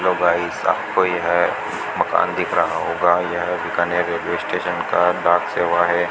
Hello guys सब कोई है मकान दिख रहा होगा यह बीकानेर रेलवे स्टेशन का डाक सेवा है।